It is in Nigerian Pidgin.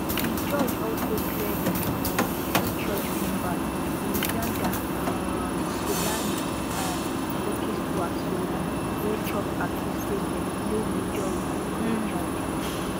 di judge also clear di um two church members lusanda um sulani and zukiswa sulani wey chop accuse say dem play major role for di charges